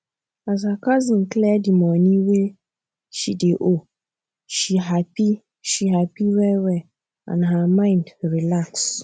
as her cousin clear the money wey she dey owe she happy she happy wellwell and her mind relax